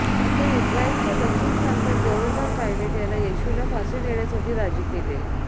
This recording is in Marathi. अखेर इस्त्रायलच्या दक्षिण प्रांताचा गव्हर्नर पायलेट याला येशूला फाशी देण्यासाठी राजी केले